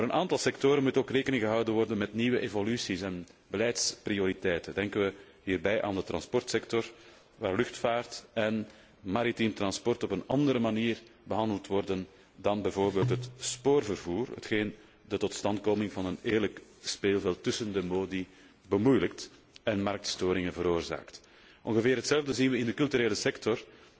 Voor een aantal sectoren moet ook rekening worden gehouden met nieuwe evoluties en beleidsprioriteiten. Wij denken hierbij aan de vervoerssector, waar luchtvaart en maritiem vervoer op een andere manier behandeld worden dan bijvoorbeeld het spoorvervoer, hetgeen de totstandkoming van een eerlijk speelveld tussen de modi bemoeilijkt en marktverstoringen veroorzaakt. Ongeveer hetzelfde zien wij in de culturele sector,